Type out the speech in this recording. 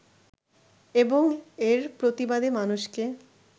এবং এর প্রতিবাদে মানুষকে